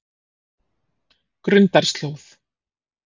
Grundarslóð